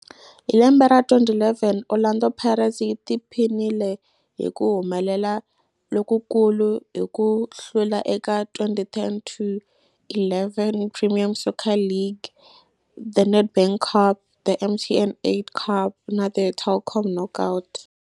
Hi lembe ra 2011, Orlando Pirates yi tiphinile hi ku humelela lokukulu hi ku hlula eka 2010 to 11 Premier Soccer League, The Nedbank Cup, The MTN 8 Cup na The Telkom Knockout.